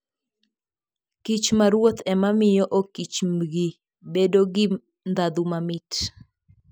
kich ma ruoth ema miyo okichmbgi bedo gi ndhadhu mamit.